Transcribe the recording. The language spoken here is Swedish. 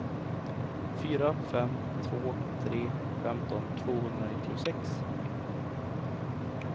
fyra fem två tre femton tvåhundranittiosex